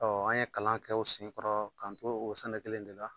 an ye kalan kɛ o senkɔrɔ k'an to o sɛnɛ kelen de la.